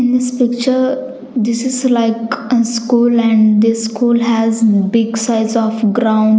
In this picture this is like and school and this school has big size of ground.